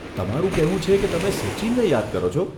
તમારું કહેવું છે કે તમે સચિનને યાદ કરો છો.